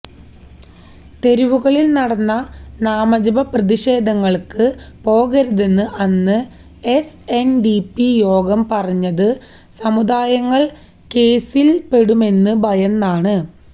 തെരുവുകളില് നടന്ന നാമജപ പ്രതിഷേധങ്ങള്ക്ക് പോകരുതെന്ന് അന്ന് എസ് എന് ഡി പി യോഗം പറഞ്ഞത് സമുദായാംഗങ്ങള് കേസില്പ്പെടുമെന്ന് ഭയന്നാണ്